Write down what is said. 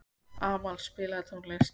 Amal, spilaðu tónlist.